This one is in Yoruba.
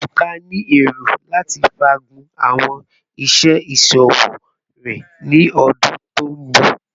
Ebuka ni ero lati faagun awọn iṣẹ iṣowo rẹ ni ọdun to nbọ